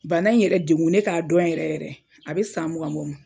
Bana in yɛrɛ degun ne k'a dɔn yɛrɛ yɛrɛ a bɛ san mugan bɔ.